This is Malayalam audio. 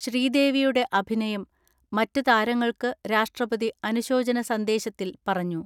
ശ്രീദേവി യുടെ അഭിനയം മറ്റ് താരങ്ങൾക്ക് രാഷ്ട്രപതി അനുശോചന സന്ദേശത്തിൽ പറഞ്ഞു.